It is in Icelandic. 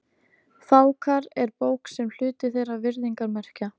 Fákar er bók, sem er hluti þeirra virðingarmerkja.